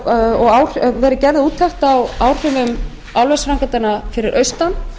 það hefur verið gerð úttekt á áhrifum álversframkvæmdanna fyrir austan